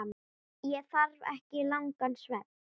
Ég þarf ekki langan svefn.